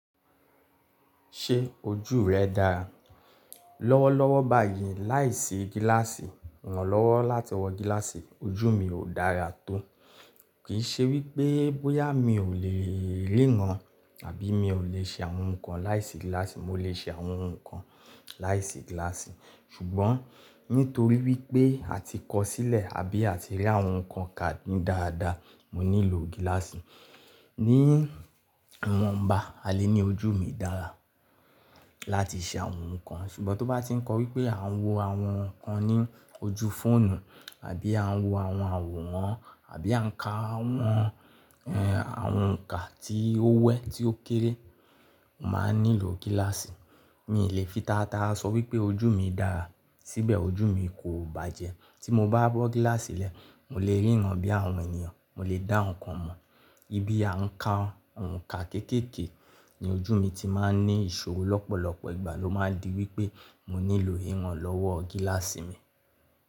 Ṣé ojú rẹ dára? Lọ́wọ́lọ́wọ́ báyìí láìsí gíláàsì, ìrànlọ́wọ́ láti wọ gíláàsì ojú mi ò dára tó. Kìí ṣe wípé bóyá mi ò lè ríran àbí mi ò lè ṣe àwọn nǹkan láìsí gíláàsì, mo lè ṣe àwọ̀ ohun nǹkan láìsí gíláàsì. Ṣùgbọ́n nítorí wípé a ti kọ sílẹ̀ àbí a ti rí àwọn nǹkan kà ní dáadáa, mo nílò gíláàsì. Ní wọ̀nba, a lè ní ojú mi dára láti ṣe àwọn nǹkan, ṣùgbọ́n tó bá ti ń kọ wípé à ń wo àwọn nǹkan ní ojú fóònù àbí à ń wo àwọn àwòrán àbí à ń ka àwọn, ẹ́, àwọn ọ̀nkà tí ó wẹ́, tí ó kéré, máa nílò gíláàsì. Mi lè fi taratara sọ wípé ojú mi dára síbẹ̀ ojú mi kò bàjẹ́. Tí mo bá bọ́ gíláàsì lẹ̀, mo lè ríran bí àwọn ènìyàn, mo lè dá nǹkan mọ̀. Bí a ń ka ọ̀nkà kékèké, ní ojú mi ti máa ń ní ìṣòro lọ́pọ̀lọpọ̀ ìgbà ló máa ń di wípé mo nílò ìrànlọ́wọ́ gíláàsì mi.